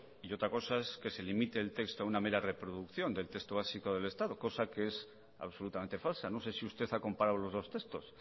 y otra cosa es que se limite el texto a una mera reproducción del texto básico del estado cosa que es absolutamente falsa no sé si usted ha comparado los dos textos